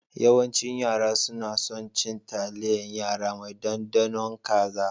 Yawancin yara suna son cin taliyan yara mai ɗaɗanun kaza